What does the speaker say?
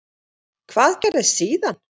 Hvað gerðist síðan?